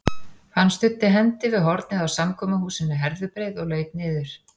Hann studdi hendi við hornið á samkomuhúsinu Herðubreið og laut niður.